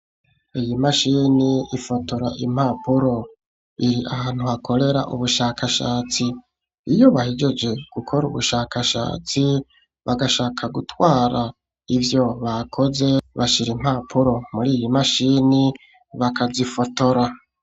Iyi mashini ifotora impapuro iri ahantu hakorera ubushakashatsi iyo bahejeje gukora ubushakashatsi bagashaka gutwara ibyo bakoze bashyira impapuro muri iyi mashini bakazifotora.